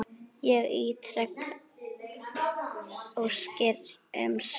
Ég ítreka óskir um svör.